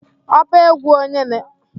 ọba egwu onye na-egwu?